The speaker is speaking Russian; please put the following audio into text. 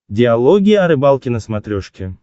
диалоги о рыбалке на смотрешке